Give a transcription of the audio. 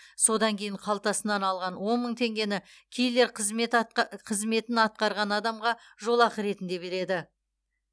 содан кейін қалтасынан алған он мың теңгені киллер қызметін атқарған адамға жолақы ретінде береді